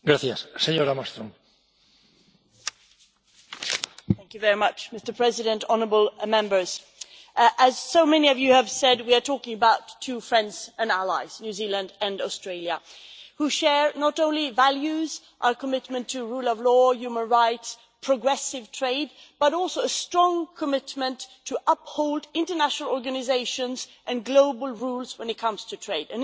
Mr President, honourable Members, as so many of you have said we are talking about two friends and allies New Zealand and Australia who share not only values, our commitment to rule of law, human rights and progressive trade, but also a strong commitment to upholding international organisations and global rules when it comes to trade.